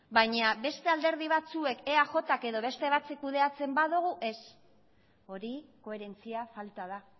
baina beste alderdi batzuek eajk edo beste batzuek kudeatzen badugu ez hori koherentzia falta da